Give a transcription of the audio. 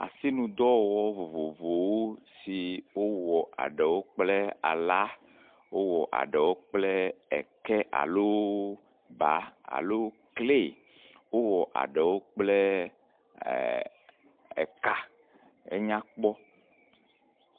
Asinudɔ vovovowo yi wowɔ eɖewo kple ala, wowɔ eɖewo kple eke alo baa lo klay, wowɔ aɖewo kple eka. Enya kpɔ.